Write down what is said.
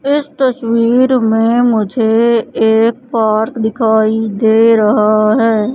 इस तस्वीर में मुझे एक पार्क दिखाई दे रहा है।